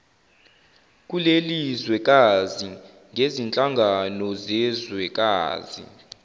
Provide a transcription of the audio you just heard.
kulelizwekazi ngezinhlangano zezwekazi